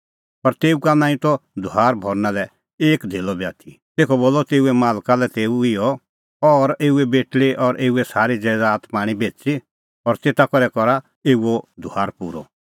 पर तेऊ का नांईं त धुआर भरना लै एक धेल्लअ बी आथी तेखअ बोलअ तेऊए मालकै तेऊ लै इहअ अह और एऊए बेटल़ी और एऊए सारी ज़ैदात पाआ बेच़ी और तेता करै करा एऊओ धुआर पूरअ